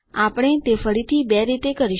આપણે તે ફરીથી બે રીતે કરીશું